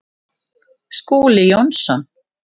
Skúli Jónsson